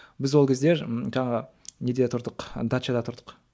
біз ол кезде жаңағы неде тұрдық дачада тұрдық